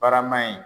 Barama in